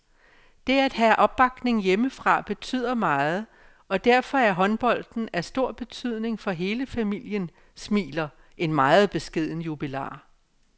Det at have opbakning hjemmefra betyder meget, og derfor er håndbolden af stor betydning for hele familien, smiler en meget beskeden jubilar.